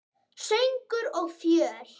Söngur og fjör.